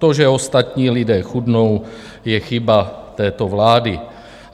To, že ostatní lidé chudnou, je chyba této vlády.